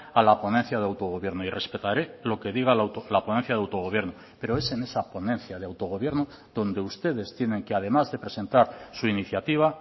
a la ponencia de autogobierno y respetaré lo que diga la ponencia de autogobierno pero es en esa ponencia de autogobierno donde ustedes tienen que además de presentar su iniciativa